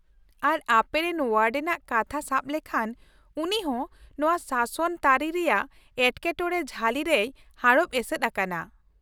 ᱟᱨ ᱟᱯᱮᱨᱮᱱ ᱳᱣᱟᱰᱮᱱ ᱟᱜ ᱠᱟᱛᱷᱟ ᱥᱟᱵ ᱞᱮᱠᱷᱟᱱ, ᱩᱱᱤ ᱦᱚᱸ ᱱᱚᱶᱟ ᱥᱟᱥᱚᱱ ᱛᱟᱹᱨᱤ ᱨᱮᱭᱟᱜ ᱮᱴᱠᱮᱴᱚᱬᱮ ᱡᱷᱟᱹᱞᱤ ᱨᱮᱭ ᱦᱟᱲᱚᱵ ᱮᱥᱮᱫ ᱟᱠᱟᱱᱟ ᱾